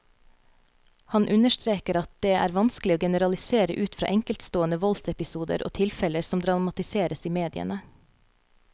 Han understreker at det vanskelig å generalisere ut fra enkeltstående voldsepisoder og tilfeller som dramatiseres i mediene.